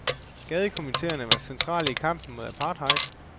Gadekomiteerne var centrale i kampen mod apartheid.